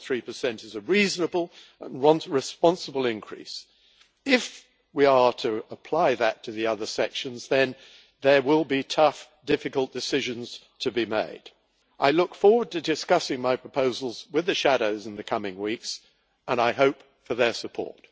2.3 is a reasonable and responsible increase, and if we are to apply that to the other sections, then there will be tough, difficult decisions to be made. I look forward to discussing my proposals with the shadows in the coming weeks, and I hope for their support.